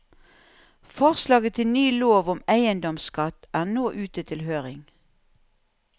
Forslaget til ny lov om eiendomsskatt er nå ute til høring.